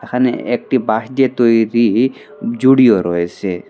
এখানে একটি বাঁশ দিয়ে তৈরি জুড়িও রয়েসে।